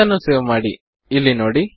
ಅದನ್ನು ಸೇವ್ ಮಾಡಿ ಇಲ್ಲಿ ನೋಡಿ